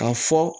Ka fɔ